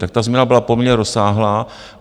Tak ta změna byla poměrně rozsáhlá.